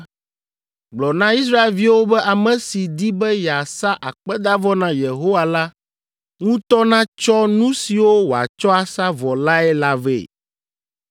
“Gblɔ na Israelviwo be ame si di be yeasa akpedavɔ na Yehowa la ŋutɔ natsɔ nu siwo wòatsɔ asa vɔ lae la vɛ.